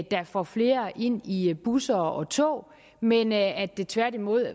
der får flere ind i busser og tog men at det tværtimod